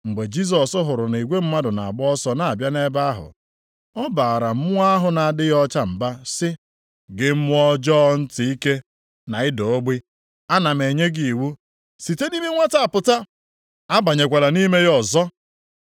Mgbe Jisọs hụrụ na igwe mmadụ na-agba ọsọ na-abịa nʼebe ahụ, ọ baara mmụọ ahụ na-adịghị ọcha mba sị, “Gị mmụọ ọjọọ ntị ike na ịda ogbi, ana m enye gị iwu, site nʼime nwata a pụta! Abanyekwala nʼime ya ọzọ!”